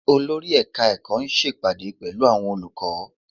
Olórí ẹ̀ka ẹ̀kọ́ ń ṣe ìpàdé pẹ̀lú àwọn olùkọ́